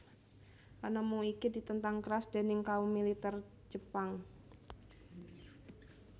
Panemu iki ditentang keras déning kaum militer Jepang